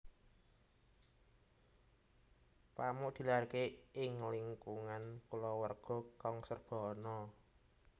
Pamuk dilahirake ing lingkungan kulawarga kang serba ana